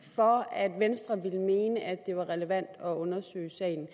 for at venstre ville mene at det var relevant at undersøge sagen